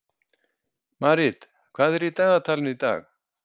Marít, hvað er í dagatalinu í dag?